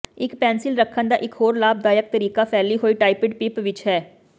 ਇੱਕ ਪੈਨਸਿਲ ਰੱਖਣ ਦਾ ਇਕ ਹੋਰ ਲਾਭਦਾਇਕ ਤਰੀਕਾ ਫੈਲੀ ਹੋਈ ਟਾਇਪਡ ਪਿੱਪ ਵਿਚ ਹੈ